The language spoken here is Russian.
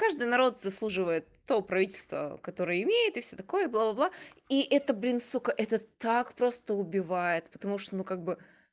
каждый народ заслуживает то правительство которое имеет и всё такое бла бла бла и это блин сука это так просто убивает потому что ну как бы